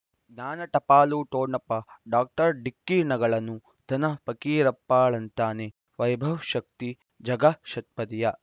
ಜ್ಞಾನ ಟಪಾಲು ಠೊಣಪ ಡಾಕ್ಟರ್ ಢಿಕ್ಕಿ ಣಗಳನು ಧನ ಫಕೀರಪ್ಪ ಳಂತಾನೆ ವೈಭವ್ ಶಕ್ತಿ ಝಗಾ ಷಟ್ಪದಿಯ